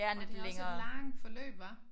Og det også et langt forløb hva?